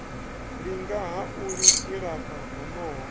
linga ha u ilafha honoho